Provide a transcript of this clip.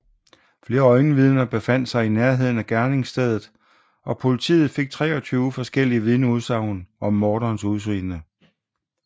Flere øjenvidner befandt sig i nærheden af gerningsstedet og politiet fik 23 forskellige vidnesudsagn om morderens udseende